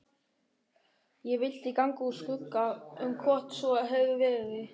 Ég vildi ganga úr skugga um hvort svo hefði verið.